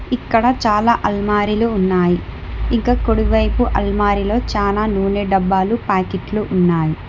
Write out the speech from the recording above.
ఇక్కడ చాలా అల్మారీలు ఉన్నాయి ఇంకా కొడివైపు అల్మారీలో చాలా నూనె డబ్బాలు ప్యాకెట్లు ఉన్నాయి.